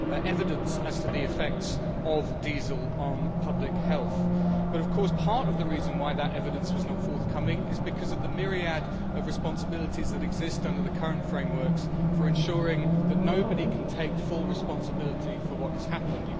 evidence as to the effects of diesel on public health. But, of course, part of the reason why that evidence was not forthcoming is the myriad of levels of responsibility that exist under the current frameworks, ensuring that nobody can take full responsibility for what has happened.